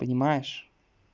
понимаешь